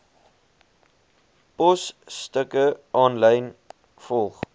posstukke aanlyn volg